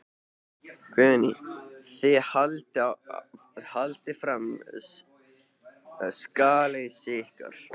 Guðný: Þið haldið fram sakleysi ykkar?